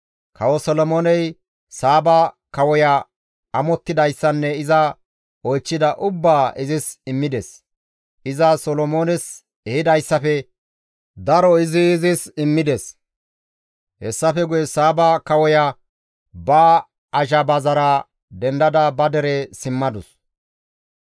Kawo Solomooney Saaba kawoya amottidayssanne iza oychchida ubbaa izis immides; iza Solomoones ehidayssafe daro izi izis immides. Hessafe guye Saaba kawoya ba azhabazara dendada ba dere simmadus.